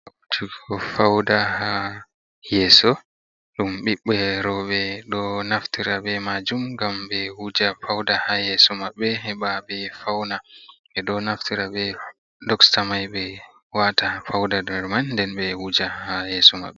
Wujugo fauda ha yeso, dum ɓibɓe roɓe ɗo naftira, ɓe majum gam ɓe wuja fauda ha yeso maɓɓe, heɓa ɓe fauna ɓe ɗo naftira ɓe doksta mai ɓe wata fauda der man, nden ɓe wuja ha yeso mabɓe.